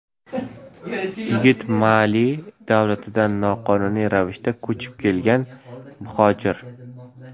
Yigit Mali davlatidan noqonuniy ravishda ko‘chib kelgan muhojir.